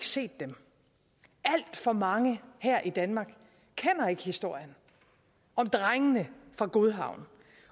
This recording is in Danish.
set dem alt for mange her i danmark kender ikke historien om drengene fra godhavn